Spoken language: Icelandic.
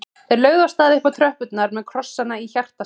Þeir lögðu af stað upp tröppurnar með krossana í hjartastað.